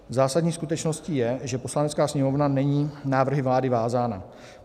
Zásadní skutečností je, že Poslanecká sněmovna není návrhy vlády vázána.